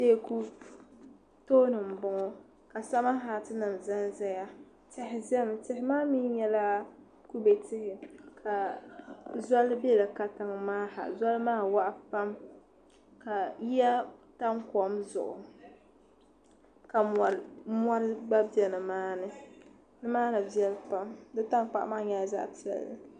Teeku tooni n bɔŋo ka sama haati nim zan zaya tihi zami tihi maa mi nyɛla kubɛ tihi ka zɔli bɛ di katiŋ maa ha ka zɔli maa waɣa pam ka yiya tam kɔm zuɣu ka mɔri gba bɛ ni maa ni ni maa ni viɛlli pam di tankpaɣu maa nyɛla zaɣa piɛlli.